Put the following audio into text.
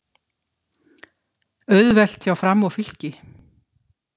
Auðvelt hjá Fram og Fylki